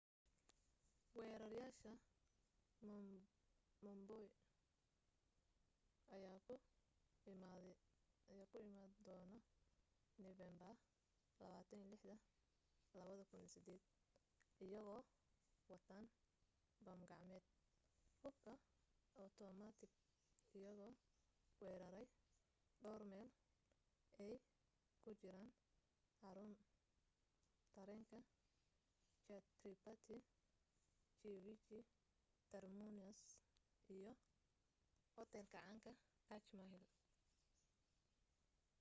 weerareyaasha mumbai ayaa ku imaaday doon nofeembar 26 2008 iyagoo wataan bam gacmeed hubka otomatik iyagoo weerarey dhawr meel ay ku jiraan xaruunra tareenka chhatrapati shivaji terminus iyo hoteelka caanka taj mahal